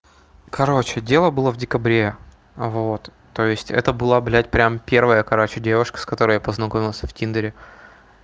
короче дело было в декабре вот то есть это была блядь прим первая короче девушка с которой я познакомился в тиндере